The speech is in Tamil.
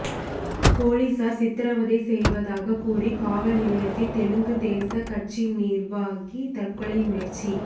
போலீசார் சித்ரவதை செய்வதாக கூறி காவல்நிலையத்தில் தெலுங்குதேசம் கட்சி நிர்வாகி தற்கொலை முயற்சி